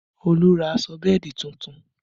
Olu ra aṣọ bẹ́ẹ̀dì tuntun